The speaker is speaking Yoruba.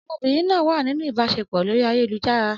Ọmọbìnrin náà wà nínú ìbáṣepọ̀ lórí ayélujára.